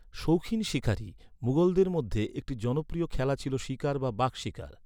শৌখিন শিকারী, মুঘলদের মধ্যে একটি জনপ্রিয় খেলা ছিল শিকার বা বাঘ শিকার।